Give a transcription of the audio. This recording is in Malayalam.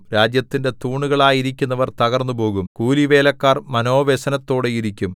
രാജ്യത്തിന്റെ തൂണുകളായിരിക്കുന്നവർ തകർന്നുപോകും കൂലിവേലക്കാർ മനോവ്യസനത്തോടെയിരിക്കും